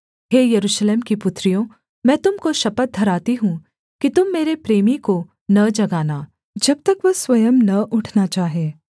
हे यरूशलेम की पुत्रियों मैं तुम को शपथ धराती हूँ कि तुम मेरे प्रेमी को न जगाना जब तक वह स्वयं न उठना चाहे